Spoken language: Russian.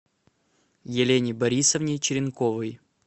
елене борисовне черенковой